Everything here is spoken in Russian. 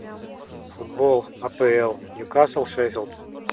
футбол апл ньюкасл шеффилд